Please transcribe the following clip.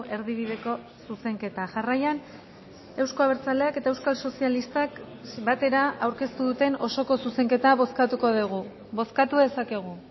erdibideko zuzenketa jarraian euzko abertzaleak eta euskal sozialistak batera aurkeztu duten osoko zuzenketa bozkatuko dugu bozkatu dezakegu